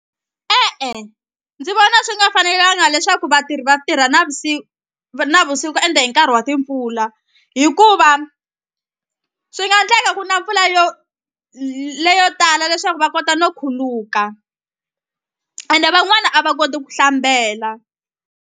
E-e ndzi vona swi nga fanelanga leswaku vatirhi vatirha navusiku ende hi nkarhi wa timpfula hikuva swi nga endleka ku na mpfula yo leyo tala leswaku va kota no khuluka ende van'wani a va koti ku hlambela.